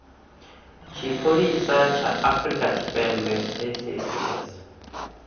tshipholisa ya afrika tshipembe saps